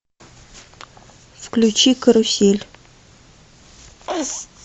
включи карусель